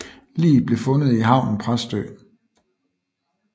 Liget blev fundet i havnen i Præstø